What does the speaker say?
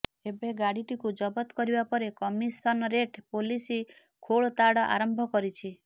ଏବେ ଗାଡିଟିକୁ ଜବତ କରିବା ପରେ କମିଶନରେଟ୍ ପୋଲିସ ଖୋଳତାଡ ଆରମ୍ଭ କରିଛି